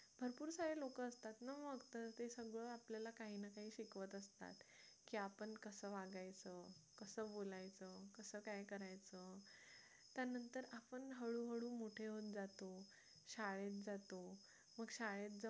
आपल्याला काही ना काही शिकवत असतात की आपण कसं वागायचं कसं बोलायचं कसं काय करायचं त्यानंतर आपण हळूहळू मोठे होत जातो शाळेत जातो मग शाळेत जाऊन